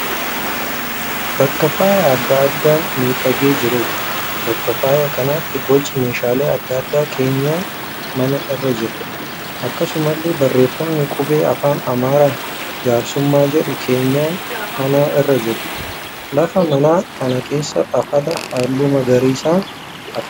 Bakka faaya adda addaan miidhagee jiruudha. Bakka faaya kanaatti boci meeshaalee adda addaa keenyan manaa irra jira. Akkasumallee barreeffamni qubee afaan Amaaraan 'jaarsummaa' jedhu keenyan manaa irra jira. Laft mana kana keessaa afata halluu magariisaan afame.